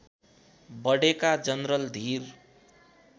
बढेका जनरल धीर